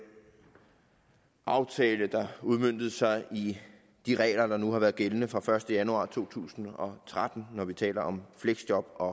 aftale der udmøntede sig i de regler der nu har været gældende fra den første januar to tusind og tretten når vi taler om fleksjob og